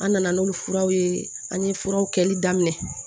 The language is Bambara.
An nana n'olu furaw ye an ye furaw kɛli daminɛ